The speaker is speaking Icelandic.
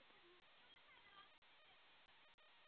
Það er mjög gott vopn.